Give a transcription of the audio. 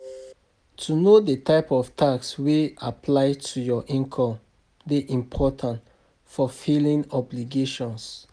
To know di type of tax wey apply to your income dey important for filimg obligation